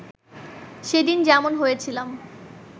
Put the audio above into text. সেদিন যেমন হয়েছিলাম